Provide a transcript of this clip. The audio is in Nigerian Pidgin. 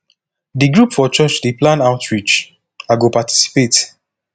d group for church dey plan outreach i go participate